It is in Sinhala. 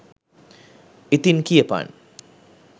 ඉතින් කියපන්